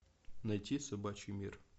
найти собачий мир